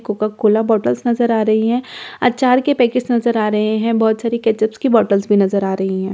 Coca Cola बोतल नजर आ रही है अचार के पैकेट नजर आ रहे हैं बहुत सारे केचप की बॉटल्स भी नजर आ रही हैं।